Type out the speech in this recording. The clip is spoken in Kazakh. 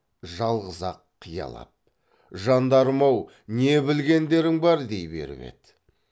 жалғыз ақ қиялап жандарым ау не білгендерің бар дей беріп еді